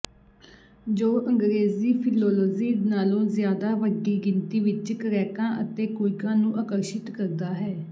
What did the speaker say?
ਜੋ ਅੰਗਰੇਜ਼ੀ ਫਿਲੋਲੋਜੀ ਨਾਲੋਂ ਜ਼ਿਆਦਾ ਵੱਡੀ ਗਿਣਤੀ ਵਿਚ ਕ੍ਰੈਕਾਂ ਅਤੇ ਕੁਇੱਕਾਂ ਨੂੰ ਆਕਰਸ਼ਿਤ ਕਰਦਾ ਹੈ